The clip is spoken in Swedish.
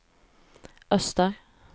öster